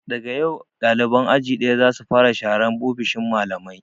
Daga yau ɗaliban aji ɗaya za su fara sharan ofishin malamai!